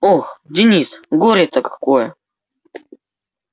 ох денис горе-то какое